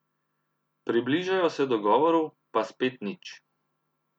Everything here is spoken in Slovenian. Približajo se dogovoru, pa spet nič.